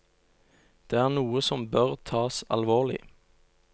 Det er noe som bør tas alvorlig.